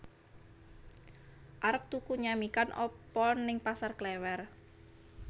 Arep tuku nyamikan apa ning Pasar Klewer